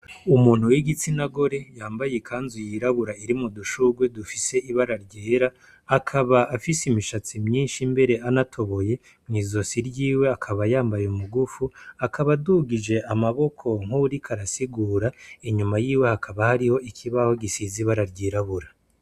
Umuntu w'igistina gore yambaye ikanzu yirabura irimwo udushurwe dufise ibara ryera. Akaba afise imishatsi myinshi, mbere anatoboye. Mw'izosi ryiwe akaba yambaye umugufu; akaba adugije amaboko nk'uwuriko arasigura. Inyuma yiwe hakaba hariho ikibaho gisize ibara ryirabura.